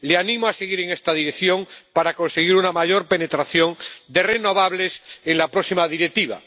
Le animo a seguir en esta dirección para conseguir una mayor penetración de las renovables en la próxima Directiva.